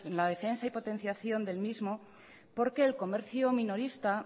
la defensa y potenciación del mismo porque el comercio minorista